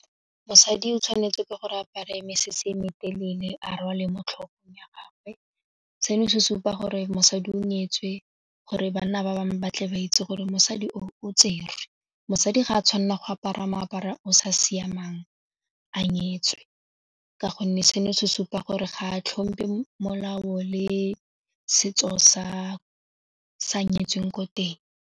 Mosadi o tshwanetswe ke gore apare mesese e metelele a rwale mo tlhogong ya gagwe seno se supa gore mosadi o nyetswe gore banna ba bangwe ba tle ba itse gore mosadi o tserwe, mosadi ga a tshwanela go apara moaparo o sa siamang a nyetswe ka gonne seno se supa gore ga a tlhompe molao le setso sa nyetsweng ko teng.